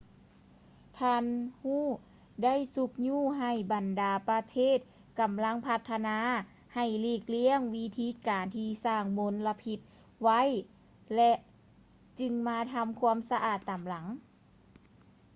ທ່ານ hu ໄດ້ຊຸກຍູ້ໃຫ້ບັນດາປະເທດກຳລັງພັດທະນາ ໃຫ້ຫຼີກລ້ຽງວິທີການທີ່ສ້າງມົນລະພິດໄວ້ ແລະ ຈຶ່ງມາທຳຄວາມສະອາດຕາມຫຼັງ